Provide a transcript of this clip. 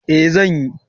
Eh zan yi